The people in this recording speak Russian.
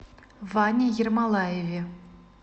ване ермолаеве